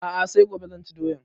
A'a sai gobe zan ci doyan